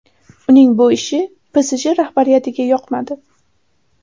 Uning bu ishi PSJ rahbariyatiga yoqmadi.